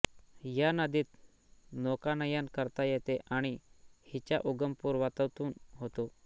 या नदीत नौकानयन करता येते आणि हिचा उगम पर्वतातून होतो